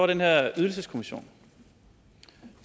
den her ydelseskommission